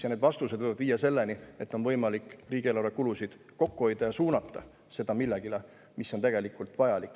Ja need vastused võivad viia selleni, et on võimalik riigieelarve kulusid kokku hoida ja suunata seda millelegi, mis on tegelikult vajalik.